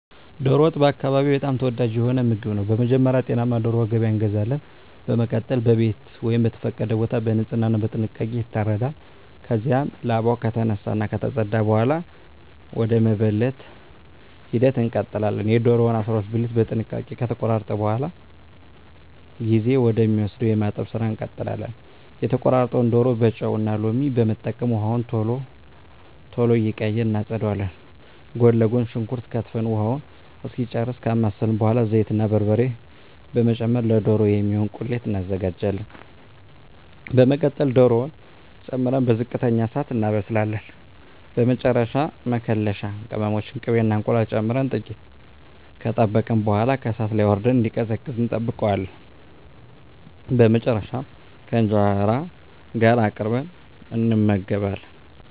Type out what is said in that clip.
ዶሮ ወጥ በአካባቢየ በጣም ተወዳጅ የሆነ ምግብ ነው። በመጀመሪያ ጤናማ ዶሮ ከገበያ እንገዛለን። በመቀጠል በቤት ወይም በተፈቀደ ቦታ በንጽህና እና በጥንቃቄ ይታረዳል። ከዚያም ላባው ከተነሳ እና ከተፀዳ በኃላ ወደ መበለት ሂደት እንቀጥላለን። የዶሮውን 12 ብልት በጥንቃቄ ከተቆራረጠ በኃላ ጊዜ ወደ ሚወስደው የማጠብ ስራ እንቀጥላለን። የተቆራረጠውን ዶሮ በጨው እና ሎሚ በመጠቀም ውሃውን ቶሎ ቶሎ እየቀያየርን እናፀዳዋለን። ጎን ለጎን ሽንኩርት ከትፈን ውሃውን እስኪጨርስ ካማሰልን በኃላ ዘይት እና በርበሬ በመጨመር ለዶሮ የሚሆን ቁሌት እናዘጋጃለን። በመቀጠል ዶሮውን ጨምረን በዝቅተኛ እሳት እናበስላለን። በመጨረሻ መከለሻ ቅመሞችን፣ ቅቤ እና እንቁላል ጨምረን ጥቂት ከጠበቅን በኃላ ከእሳት ላይ አውርደን እንዲቀዘቅዝ እንጠብቀዋለን። በመጨረሻም ከእንጀራ ጋር አቅርበን እንመገባለን።